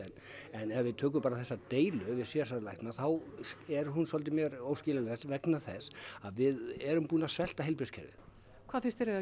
en ef við tölum bara þessa deilu við sérgreinalækna þá er hún mér óskiljanleg vegna þess að við erum búin að svelta heilbrigðiskerfið hvað finnst þér eigi